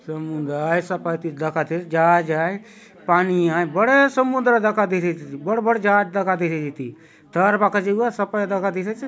समुद्र आय ऐसा पाटिल दखा देयसे जहाज आय पानी आय बड़े समुन्द्र दखा देयसी आचे इति बड़ - बड़ जहाज दखा देयसी आचे इति ठहरबा काजे हउआय सपाय दखा देयसी आचे।